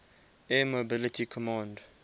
air mobility command